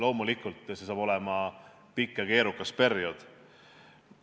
Loomulikult saab see olema pikk ja keerukas periood.